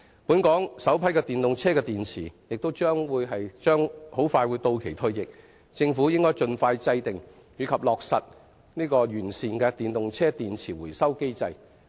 本港首批電動車電池即將到期退役，政府應盡快制訂及落實完善的電動車電池回收機制。